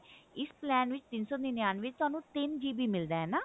ਇਸ ਪਾਲਣ ਵਿੱਚ ਤਿੰਨ ਸੋ ਨਨਿਅੰਨਵੇਂ ਵਿੱਚ ਤੁਹਾਨੂੰ ਤਿੰਨ GB ਮਿਲਦਾ ਹੈ ਨਾ